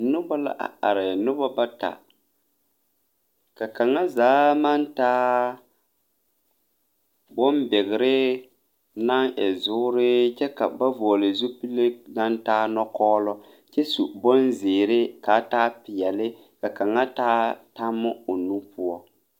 Nobɔ la are nobɔ bata ka kaŋa zaa maŋ taa bonbigre naŋ e zuure kyɛ ka ba vɔgle zupile naŋ taa nɔkɔɔlɔ kyɛ su bonzeere kaa taa peɛle ka kaŋa taa tammo o nu poɔ.